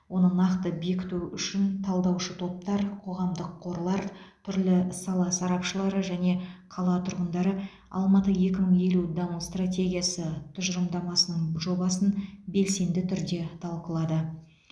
оны нақты бекіту үшін талдаушы топтар қоғамдық қорлар түрлі сала сарапшылары және қала тұрғындары алматы екі мың елу даму стратегиясы тұжылымдамасының жобасын белсенді түрде талқылады